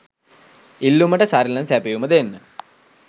ඉල්ලුමට සරිලන සැපයුම දෙන්න